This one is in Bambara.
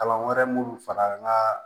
Kalan wɛrɛ minnu fara n ka